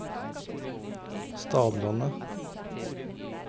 Stadlandet